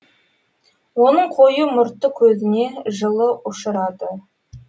оның қою мұрты көзіне жылыұшырады